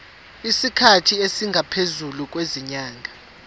isikhathi esingaphezulu kwezinyanga